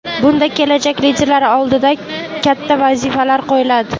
Bunda kelajak liderlari oldiga katta vazifalar qo‘yiladi.